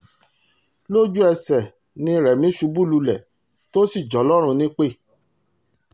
lójú ẹsẹ̀ ni rẹ́mi ṣubú lulẹ̀ tó sì jọlọ́run nípẹ́